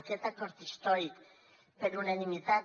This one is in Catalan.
aquest acord històric per unanimitat